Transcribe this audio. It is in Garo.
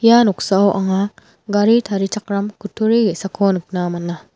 ia noksao anga gari tarichakram kutturi ge·sako nikna man·a.